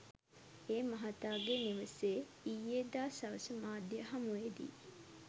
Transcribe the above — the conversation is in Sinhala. ඒ මහතාගේ නිවසේ ඊයේදා සවස මාධ්‍ය හමුවේදී